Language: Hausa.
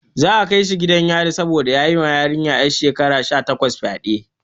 Za a kai shi gidan yari saboda ya yi ma yarinya 'yar shekara takwas fyade.